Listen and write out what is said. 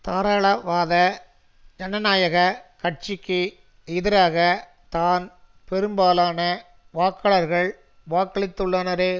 தாராள வாத ஜனநாயக கட்சிக்கு எதிராக தான் பெரும்பாலான வாக்காளர்கள் வாக்களித்துள்ளனரே